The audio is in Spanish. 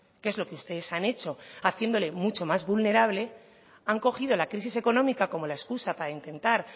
que es lo que ustedes han hecho haciéndole mucho más vulnerable han cogido la crisis económica como la excusa para intentar